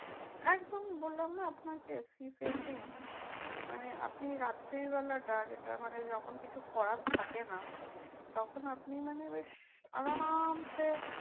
একদম বললাম না আপনাকে sea facing মানে আপনি রাত্রিবেলাটা যেটা মানে যখন কিছু করার থাকে না। তখন আপনি মানে বেশ আরামসে